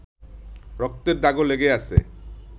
রক্তের দাগও লেগে আছে